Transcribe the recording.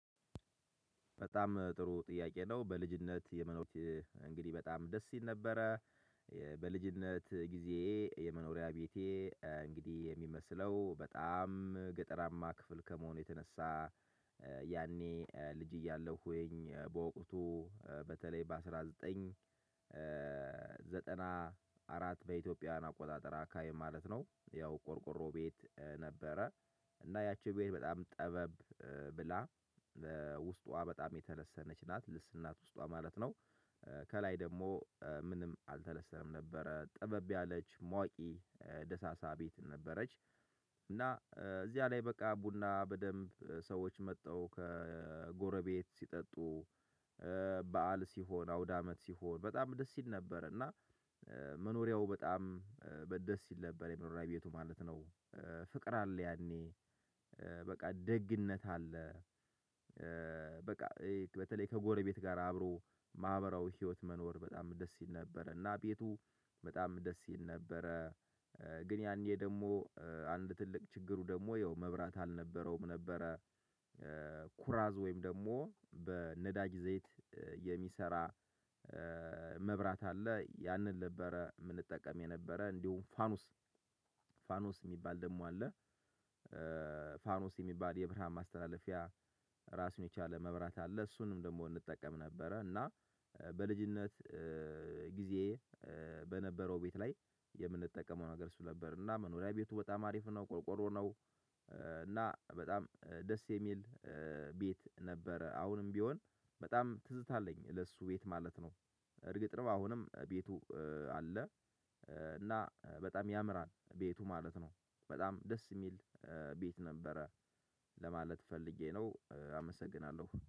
በጣም ጥሩ ጥያቄ ነው በልጅነት የመኖ እንግዲህ በጣም ደስ ይል ነበረ። በልጅነት ጊዜ የመኖሪያ ቤቴ እንግዲህ የሚመስለው በጣም ገጠራማ ክፍል ከመሆኑ የተነሳ። ያኔ ልጅ እያለሁ ወይኝ በወቅቱ በተለይ በአንድ ሺህ ዘጠኝ መቶ ዘጠና አራት በኢትዮጵያ አቆጣጠር አካባቢ ማለት ነው ያው ቆርቆሮ ቤት ነበረ። እና ያቺ ቤት በጣም ጠበብ ብላ ውስጧ የተለሰነች ናት ልስናት ውስጧ ማለት ነው። ከላይ ደግሞ ምንም አልተለሰነም ነበረ ጥበብ ያለች ሟቂ ደሳሳ ቤት ነበረች። እና እዚያ ላይ በቃ ቡና በደንብ ሰዎች መተው ከጎረቤት ሲጠጡ። በዓል ሲሆን አውዳመት ሲሆን በጣም ደስ ይል ነበር እና መኖሪያው በጣም ደስ ይል ነበር የመኖሪያ ቤቱ ማለት ነው። ፍቅር አለ ያኔ በቃ ደግነት አለ። በቃ በተለይ ከጎረቤት ጋር አብሮ ማህበራዊ ህይወት መኖር በጣም ደስ ይል ነበረ። እና ቤቱ በጣም ደስ ይል ነበረ። ግን ያኔ ደግሞ አንድ ትልቅ ችግሩ ደግሞ ያው መብራት አልነበረውም ነበረ። ኩራዝ ወይም ደግሞ በነዳጅ ዘይት የሚሰራ መብራት አለ ያንን ነበረ የምንጠቀም የነበረ እንዲሁም ፋኑስ ፋኑስ የሚባል ደግሞ አለ። ፋኖስ የሚባል የብርሃን ማስተላለፊያ ራሱን የቻለ መብራት አለ እሱንም ደግሞ እንጠቀም ነበረ። እና በልጅነት ጊዜ በነበረው ቤት ላይ የምንጠቀመው ነገር እሱ ነበር እና መኖሪያ ቤቱ በጣም አሪፍ ነው ቆርቆሮ ነው። እና በጣም ደስ የሚል ቤት ነበረ አሁንም ቢሆን በጣም ትዝታ አለኝ ለእሱ ቤት ማለት ነው። እርግጥ ነው አሁንም ቤቱ አለ። እና በጣም ያምራል ቤቱ ማለት ነው። በጣም ደስ የሚል ቤት ነበረ። ለማለት ፈልጌ ነው። አመሰግናለሁ